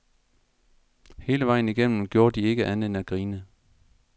Hele vejen igennem gjorde de ikke andet end at grine.